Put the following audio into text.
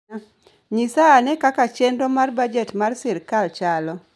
Nyisa ane kaka chenro mar bajet mar sirkal chalo.